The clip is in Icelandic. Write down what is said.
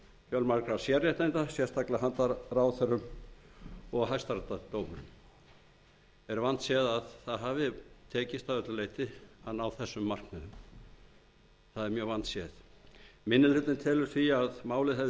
fjölmargra sérréttinda sérstaklega til handa ráðherrum og hæstaréttardómurum er vandséð að það hafi tekist að öllu leyti að ná þessum markmiðum minni hlutinn telur að málið hefði